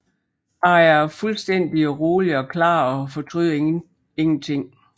Jeg er fuldstændig rolig og klar og fortryder intet